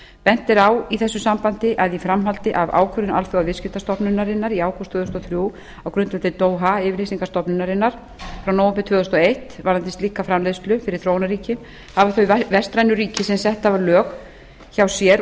bent er á í þessu sambandi að í framhaldi af ákvörðun alþjóðaviðskiptastofnunarinnar í ágúst tvö þúsund og þrjú á grundvelli doha yfirlýsingar stofnunarinnar frá nóvember tvö þúsund og eitt varðandi slíka framleiðslu fyrir þróunarríki hafa þau vestrænu ríki sem sett hafa lög hjá sér